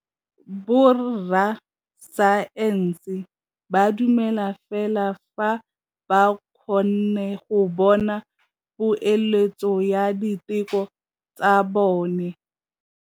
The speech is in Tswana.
Borra saense ba dumela fela fa ba kgonne go bona poeletsô ya diteko tsa bone.